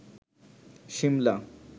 Shimla